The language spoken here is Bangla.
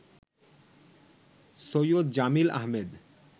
সৈয়দ জামিল আহমেদ